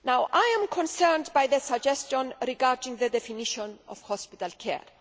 I am concerned at the suggestion regarding the definition of hospital care.